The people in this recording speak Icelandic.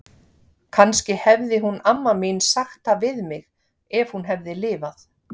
Kannski hefði hún amma mín sagt það við mig, ef hún hefði lifað.